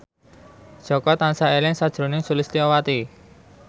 Jaka tansah eling sakjroning Sulistyowati